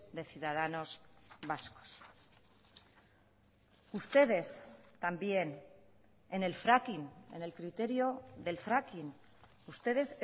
de ciudadanos vascos ustedes también en el fracking en el criterio del fracking ustedes